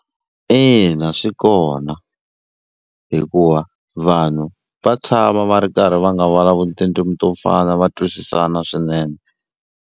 Ina swi kona hikuva vanhu va tshama va ri karhi va nga vulavuli tindzimi to fana va twisisana swinene.